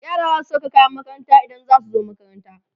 yara zasu Saka kayan makaranta in zasu zo makaranta